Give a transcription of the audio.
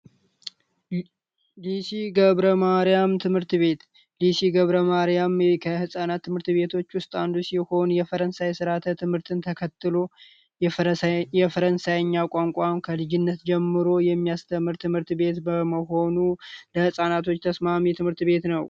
ደሴ ገብረ ማርያም ትምህርት ቤት ደሴ ገብረ ማርያም ትምህርት ቤት ከህጻናት ትምህርት ቤቶች ውስጥ አንዱ ሲሆን የፈረንሳይን ስርዓተ ትምህርት ተከትሎ የፈረንሳይኛ ቋንቋን ከልጅነት ጀምሮ የሚያስተምር ትምህርት ቤት በመሆኑ ለህፃናት ተስማሚ ትምህርት ቤት ነው።